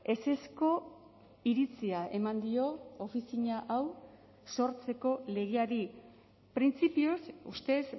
ezezko iritzia eman dio ofizina hau sortzeko legeari printzipioz ustez